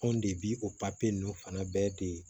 Anw de bi o papiye ninnu fana bɛɛ de